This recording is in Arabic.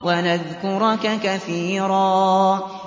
وَنَذْكُرَكَ كَثِيرًا